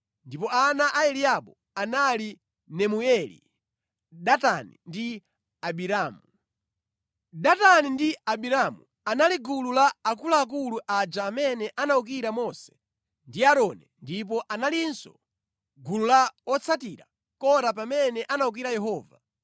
ndipo ana a Eliabu anali Nemueli, Datani ndi Abiramu. Datani ndi Abiramu anali gulu la akuluakulu aja amene anawukira Mose ndi Aaroni ndipo analinso mʼgulu la otsatira Kora pamene anawukira Yehova.